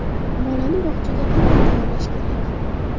Bolani bog‘chaga qanday tayyorlash kerak?.